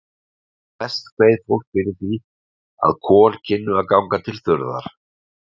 Mest kveið fólk fyrir því, að kol kynnu að ganga til þurrðar.